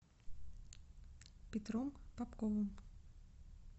петром попковым